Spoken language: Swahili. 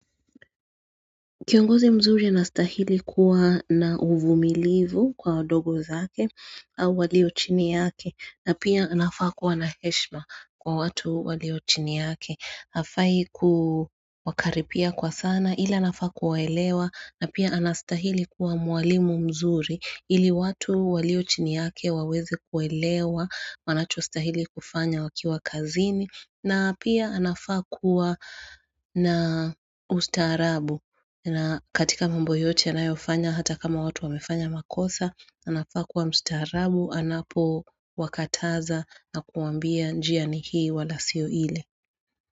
Kiongozi mzuri anastahili kuwa na uvumilivu kwa odogo zake au walio chini yake na pia anafaa kuwa na heshima kwa watu walio chini yake Hafai kumakaripia kwa sana Ila anafaa kuwaelewa na pia anastahili kuwa mwalimu mzuri Ili watu walio chini yake wawezi kuwaelewa Wanacho astahili kufanya wakiwa kazini na pia anafaa kuwa na ustaarabu na katika mambo yote anayofanya hata kama watu wamefanya makosa, anafakuwa mstiharabu, anapowakataza na kuambia njia ni hii wala siyo ile.